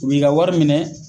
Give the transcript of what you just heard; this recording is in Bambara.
U bi ka ka wari minɛ.